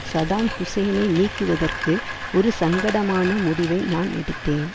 Saddam ஹூசேனை நீக்குவதற்கு ஒரு சங்கடமான முடிவை நான் எடுத்தேன்